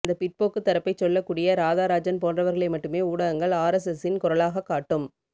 அந்த பிற்போக்குத் தரப்பைச் சொல்லக்கூடிய ராதா ராஜன் போன்றவர்களை மட்டுமே ஊடகங்கள் ஆர் எஸ் எஸின் குரலாகக் காட்டும்